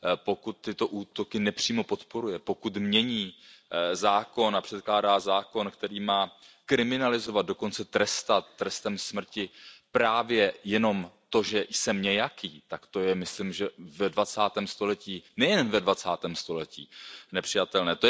Pokud tyto útoky nepřímo podporuje, pokud mění zákon a předkládá zákon, který má kriminalizovat, dokonce trestat trestem smrti právě jenom to, že jsem nějaký, tak to je myslím, že ve dvacátém století, nejen ve dvacátém století, nepřijatelné.